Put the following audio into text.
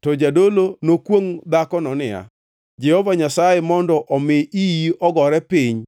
to jadolo nokwongʼ dhakono niya, “Jehova Nyasaye mondo omi iyi ogore piny,